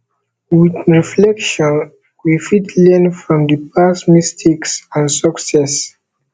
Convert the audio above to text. with reflection we fit learn from di past mistakes and success